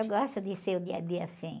Eu gosto de ser o dia a dia assim.